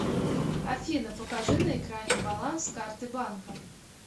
афина покажи на экране баланс карты банка